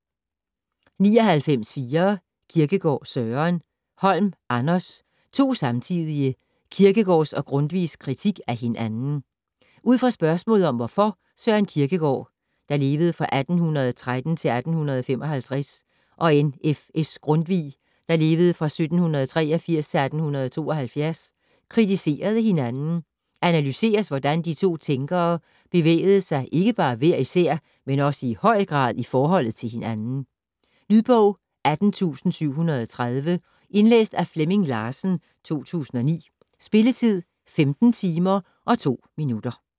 99.4 Kierkegaard, Søren Holm, Anders: To samtidige: Kirkegaards og Grundtvigs kritik af hinanden Ud fra spørgsmålet om hvorfor Søren Kierkegaard (1813-1855) og N.F.S. Grundtvig (1783-1872) kritiserede hinanden, analyseres hvordan de to tænkere bevægede sig ikke bare hver især, men også i høj grad i forhold til hinanden. Lydbog 18730 Indlæst af Flemming Larsen, 2009. Spilletid: 15 timer, 2 minutter.